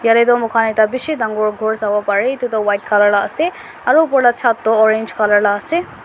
moikhan ekta bishi dangor khor sawoparae edu toh white colour la ase aro opor la chat toh orange colour laase.